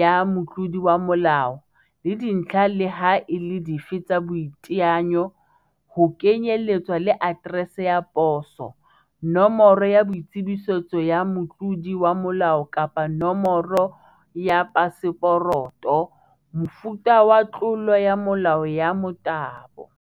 ya Motlodi wa molao, le dintlha leha e le dife tsa boiteanyo, ho kenyeletswa le aterese ya poso, Nomoro ya boitsebiso ya motlodi wa molao kapa nomoro ya paseporoto, Mofuta wa tlolo ya molao ya motabo.